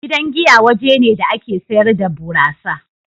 Gidan giya waje ne da ake sayar da burasa.